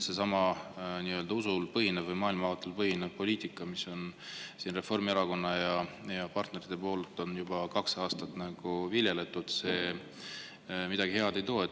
Seesama usul või maailmavaatel põhinev poliitika, mida Reformierakond ja tema partnerid on juba kaks aastat viljelnud, midagi head ei too.